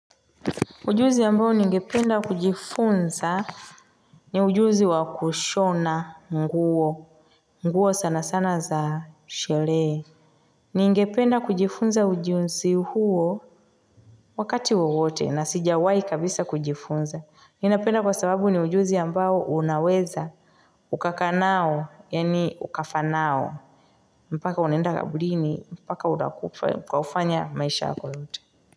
Ujuzi ambao ningependa kujifunza ni ujuzi wa kushona nguo. Nguo sana sana za sherehe. Ningependa kujifunza ujuzi huo, wakati wowote na sijawai kabisa kujifunza. Ninapenda kwa sababu ni ujuzi ambao unaweza ukaka nayo, yaani ukafa nayo. Mpaka unaenda kaburini, mpaka unakufa maisha yako yote.